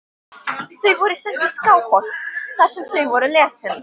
Þau voru send í Skálholt þar sem þau voru lesin.